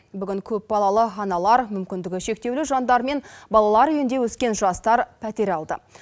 бүгін көпбалалы аналар мүмкіндігі шектеулі жандар мен балалар үйінде өскен жастар пәтер алды